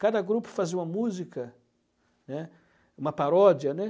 Cada grupo fazia uma música, né, uma paródia, né.